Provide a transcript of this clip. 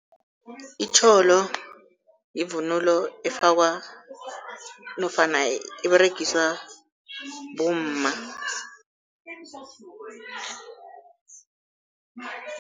Itjholo yivunulo efakwa nofana eberegiswa bomma.